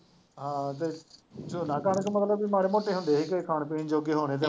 ਹਾਂ ਅਤੇ ਝੋਨਾ ਕਣਕ ਮਤਲਬ ਬਈ ਮਾੜੇ ਮੋਟੇ ਹੁੰਦੇ ਸੀਗੇ, ਖਾਣ ਪੀਣ ਜੋਗੇ ਹੋਣੇ ਤੇ